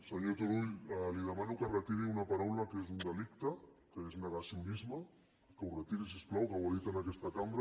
senyor turull li demano que retiri una paraula que és un delicte que és negacionisme que ho retiri si us plau que ho ha dit en aquesta cambra